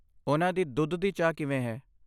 ਉਨ੍ਹਾਂ ਦੀ ਦੁੱਧ ਦੀ ਚਾਹ ਕਿਵੇਂ ਹੈ?